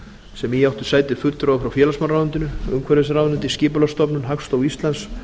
sem í áttu sæti fulltrúar frá félagsmálaráðuneytinu umhverfisráðuneyti skipulagsstofnun hagstofu íslands